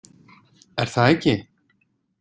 Er það ekki?